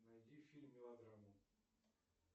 найди фильм мелодраму